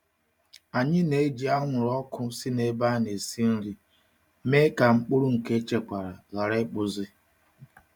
Anyị na-eji anwụrụ ọkụ si n'ebe a na-esi nri mee ka mkpụrụ nke echekwara ghara ịkpụzi.